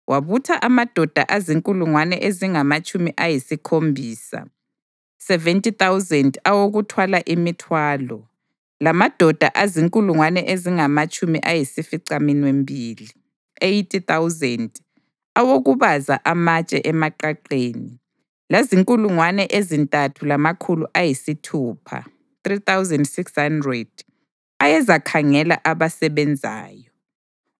Wabutha amadoda azinkulungwane ezingamatshumi ayisikhombisa (70,000) awokuthwala imithwalo, lamadoda azinkulungwane ezingamatshumi ayisificaminwembili (80,000) awokubaza amatshe emaqaqeni, lazinkulungwane ezintathu lamakhulu ayisithupha (3,600) ayezakhangela abasebenzayo.